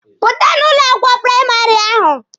Pụta n'ụlọ akwụkwọ praịmarị ahụ!